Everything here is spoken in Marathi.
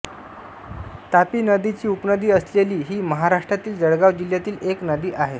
तापी नदीची उपनदी असलेली ही महाराष्ट्रातील जळगाव जिल्ह्यातील एक नदी आहे